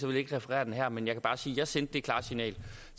jeg ikke referere den her men jeg kan bare sige at jeg sendte det klare signal